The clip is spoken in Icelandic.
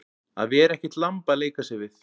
Að vera ekkert lamb að leika sér við